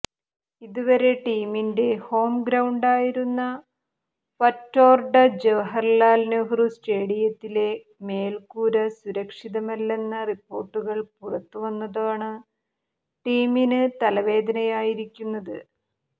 ഇതുവരെ ടീമിൻ്റെ ഹോം ഗ്രൌണ്ടായിരുന്ന ഫറ്റോർഡ ജവഹര്ലാല് നെഹ്റു സ്റ്റേഡിയത്തിലെ മേൽക്കൂര സുരക്ഷിതമല്ലെന്ന റിപ്പോർട്ടുകൾ പുറത്തു വന്നതാണ് ടീമിന് തലവേദനയായിരിക്കുന്നത്